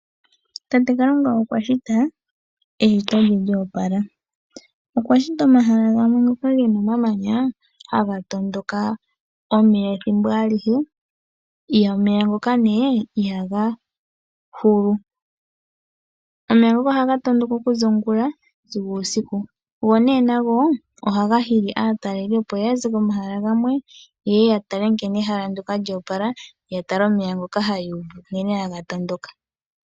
Tate Kalunga okwa shita eshito lye lyoopala, okwashita omahala gawme ngoka gena omamanya haga tondoka omeya ethimbo alihe, omeya ngoka ihaga hulu. Omeya ngoka ohagatondoka okuza ongula sigo uusiku, go ne nago ohaga hili aataleli opo yaze komahala gamwe ye ye yatape nkene ehala ndyoka lyoopala, yatale omeya ngoka hayuuvu nkene haga tondoka.